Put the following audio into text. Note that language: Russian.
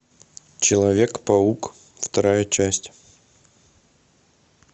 человек паук вторая часть